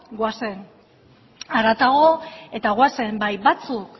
goazen haratago eta goazen bai batzuk